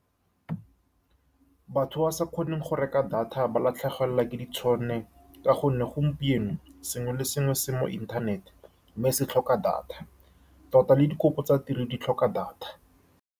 Batho ba ba sa kgoneng go reka data ba latlhegelwa ke ditšhono, ka gonne gompieno sengwe le sengwe se se mo inthanete mme se tlhoka data, tota le dikopo tsa tiro di tlhoka data.